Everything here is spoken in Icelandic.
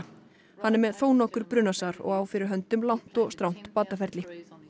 hann er með þónokkur brunasár og á fyrir höndum langt og strangt bataferli